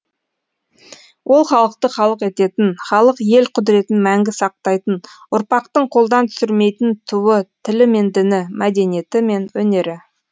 ол халықты халық ететін халық ел құдіретін мәңгі сақтайтын ұрпақтың қолдан түсірмейтін туы тілі мен діні мәдениеті мен өнері